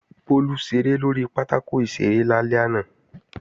Bólú ṣeré lórí pátákò ìṣeré lálẹ́ àná